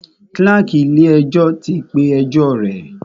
Kláàkì ilé ẹjọ́ tí ń pé ẹjọ́ rẹ̀.